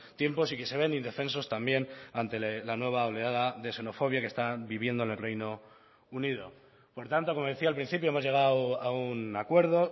tiempos y que se ven indefensos también ante la nueva oleada de xenofobia que están viviendo en el reino unido por tanto como decía al principio hemos llegado a un acuerdo